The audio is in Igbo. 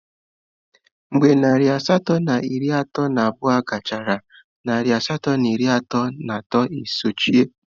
Mgbe narị asatọ na iri atọ na abụọ gachara, narị asatọ na iri atọ na atọ e sochie.